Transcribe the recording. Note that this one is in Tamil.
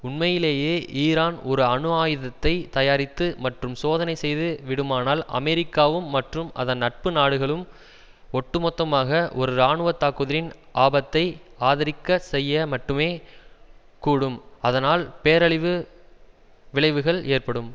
உண்மையிலேயே ஈரான் ஒரு அணு ஆயுதத்தை தயாரித்து மற்றும் சோதனை செய்து விடுமானால் அமெரிக்காவும் மற்றும் அதன் நட்பு நாடுகளும் ஒட்டு மொத்தமாக ஒரு இராணுவ தாக்குதலின் ஆபத்தை ஆதரிக்க செய்ய மட்டுமே கூடும் அதனால் பேரழிவு விளைவுகள் ஏற்படும்